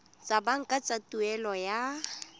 tsa banka tsa tuelo ya